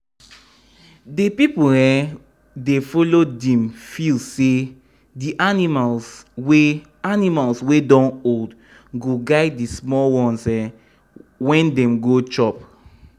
the people wey um dey follow dem feel say the animals wey animals wey don old go guide the small ones um when dem go chop.